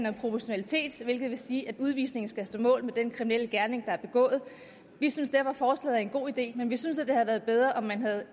om proportionalitet hvilket vil sige at udvisningen skal stå mål med den kriminelle gerning der er begået vi synes derfor forslaget er en god idé men vi synes at det havde været bedre om man havde